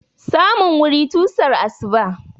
Samun wuri tusan asuba.